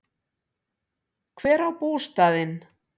Hver á bústaðinn?